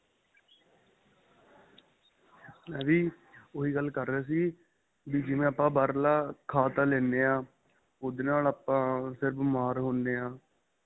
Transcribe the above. ਮੈਂ ਵੀ ਉਹੀ ਗੱਲ ਕਰ ਰਿਹਾ ਸੀ ਵੀ ਜਿਵੇ ਆਪਾਂ ਬਹਾਰਲਾ ਖਾਂ ਤਾਂ ਲੈਣੇ ਹਾਂ ਉਹਦੇ ਆਪਾਂ ਫਿਰ ਆਪਾਂ ਬਿਮਾਰ ਹੁੰਦੇ ਆਂ